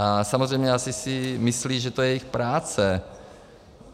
A samozřejmě asi si myslí, že to je jejich práce.